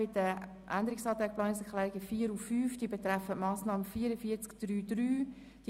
Die Änderungsanträge/Planungserklärungen 4 und 5 betreffen die Massnahme 44.3.3.